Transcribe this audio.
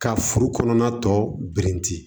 Ka furu kɔnɔna tɔ birinti